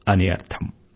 అని అర్థం